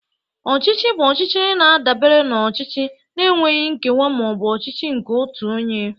Ọchịchị bụ ọchịchị na-adabere na ọchịchị na-enweghị nkewa ma ọ bụ ọchịchị nke otu onye